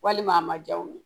Walima a ma ja u ye